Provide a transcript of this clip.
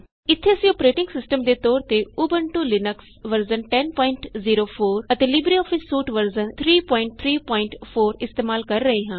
ਇਥੇ ਅਸੀਂ ਆਪਣੇ ਅੋਪਰੇਟਿੰਗ ਸਿਸਟਮ ਦੇ ਤੌਰ ਤੇ ਉਬੰਟੂ ਲੀਨਕਸ ਵਰਜ਼ਨ 1004 ਅਤੇ ਲਿਬਰੇਆਫਿਸ ਸੂਟ ਵਰਜ਼ਨ 334 ਇਸਤੇਮਾਲ ਕਰ ਰਹੇ ਹਾਂ